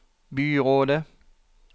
byrådet